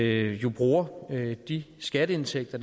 jo bruger de skatteindtægter